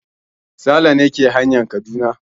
Sale ne ke hanyan Kaduna.